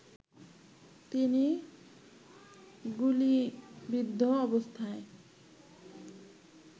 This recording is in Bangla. তিনি গুলিবিদ্ধ অবস্থায়